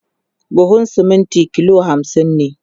buhun siminti kilo hamsin ne